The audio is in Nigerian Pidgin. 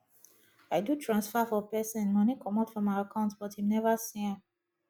i do transfer for person money comot for my account but him never see am